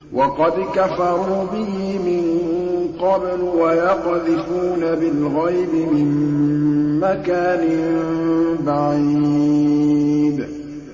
وَقَدْ كَفَرُوا بِهِ مِن قَبْلُ ۖ وَيَقْذِفُونَ بِالْغَيْبِ مِن مَّكَانٍ بَعِيدٍ